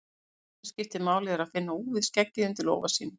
Það eina sem máli skiptir er að finna úfið skeggið undir lófa sínum.